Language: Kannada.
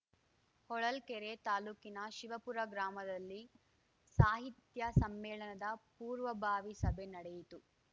ಹೊಳಲ್ಕೆರೆ ತಾಲೂಕಿನ ಶಿವಪುರ ಗ್ರಾಮದಲ್ಲಿ ಸಾಹಿತ್ಯ ಸಮ್ಮೇಳನದ ಪೂರ್ವಭಾವಿ ಸಭೆ ನಡೆಯಿತು